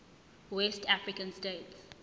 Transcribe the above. west african states